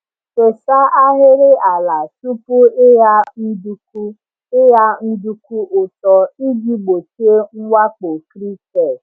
Fesa ahịrị ala tupu ịgha nduku ịgha nduku ụtọ iji gbochie mwakpo cricket.